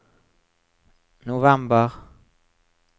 november